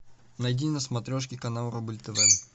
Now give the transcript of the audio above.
найди на смотрешке канал рубль тв